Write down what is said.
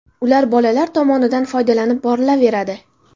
Ular bolalar tomonidan foydalanib borilaveradi.